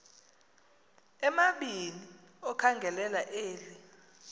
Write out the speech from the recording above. amabini okhangelela eli